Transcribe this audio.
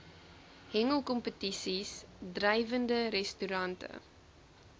hengelkompetisies drywende restaurante